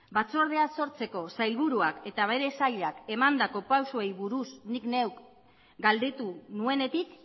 batzordea sortzeko sailburuak eta bere sailak emandako pausoei buruz nik neuk galdetu nuenetik